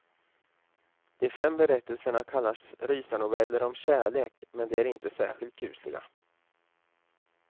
De fem berättelserna kallas rysarnoveller om kärlek, men de är inte särskilt kusliga.